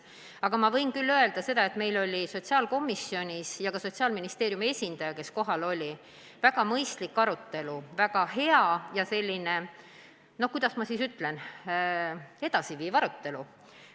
Aga ma võin küll öelda seda, et sotsiaalkomisjonis, kus oli kohal ka Sotsiaalministeeriumi esindaja, oli väga mõistlik arutelu, väga selline, kuidas ma nüüd ütlen, edasiviiv arutelu.